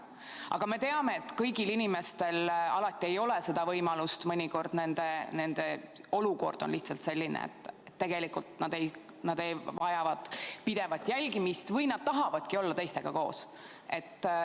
Aga me teame, et kõigil inimestel alati ei ole seda võimalust, mõnikord nende olukord on lihtsalt selline, et nad tegelikult vajavad pidevat jälgimist või nad tahavadki olla teistega koos.